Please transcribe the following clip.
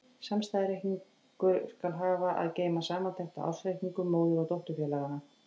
Samstæðureikningur skal hafa að geyma samantekt á ársreikningum móður- og dótturfélaganna.